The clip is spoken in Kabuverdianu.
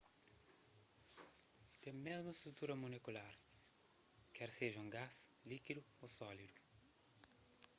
ten mésmu strutura molekular ker seja un gás líkidu ô sólidu